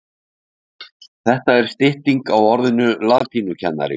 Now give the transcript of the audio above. Það er stytting á orðinu latínukennari.